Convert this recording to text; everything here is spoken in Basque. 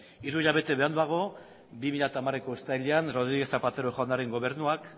hiru hilabete beranduago bi mila hamareko uztailean rodríguez zapatero jaunaren gobernuak